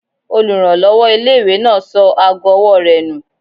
Olùrànlọ́wọ́ ilé-ìwé náà sọ ago ọwọ́ rẹ̀ nù